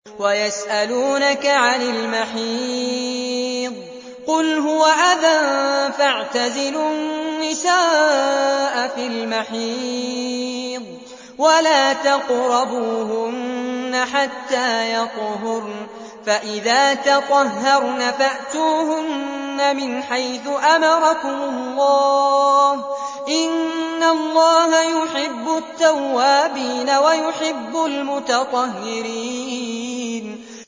وَيَسْأَلُونَكَ عَنِ الْمَحِيضِ ۖ قُلْ هُوَ أَذًى فَاعْتَزِلُوا النِّسَاءَ فِي الْمَحِيضِ ۖ وَلَا تَقْرَبُوهُنَّ حَتَّىٰ يَطْهُرْنَ ۖ فَإِذَا تَطَهَّرْنَ فَأْتُوهُنَّ مِنْ حَيْثُ أَمَرَكُمُ اللَّهُ ۚ إِنَّ اللَّهَ يُحِبُّ التَّوَّابِينَ وَيُحِبُّ الْمُتَطَهِّرِينَ